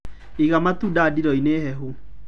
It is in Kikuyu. Iga matunda ndiro-inĩ hehu.